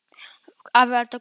Afi eldaði góðan mat.